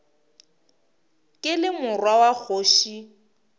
ke le morwa wa kgoši